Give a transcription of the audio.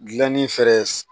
Gilanni fɛɛrɛ